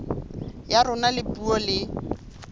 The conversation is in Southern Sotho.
ya rona ya puo le